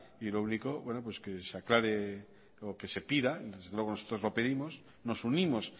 y lo único bueno pues que se aclare o que se pida desde luego nosotros lo pedimos nos unimos